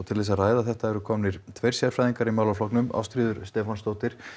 til þess að ræða þetta eru komnir tveir sérfræðingar í málaflokknum Ástríður Stefánsdóttir